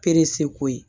ko ye